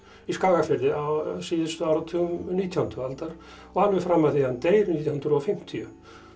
í Skagafirði á síðustu áratugum nítjándu aldar og alveg fram að því að hann deyr nítján hundruð og fimmtíu